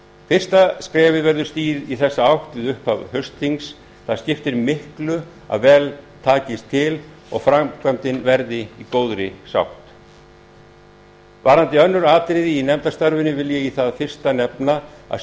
fyrsta skrefið verður stigið í þessa átt við upphaf haustþings það skiptir miklu að vel takist til og framkvæmdin verði í góðri sátt varðandi önnur atriði í nefndarstarfinu vil ég í það fyrsta nefna að